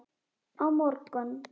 Á morgun